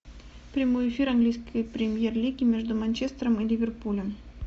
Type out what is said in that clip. прямой эфир английской премьер лиги между манчестером и ливерпулем